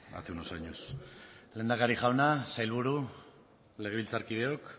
hace unos años lehendakari jauna sailburu legebiltzarkideok